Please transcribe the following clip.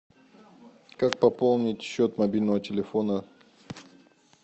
как пополнить счет мобильного телефона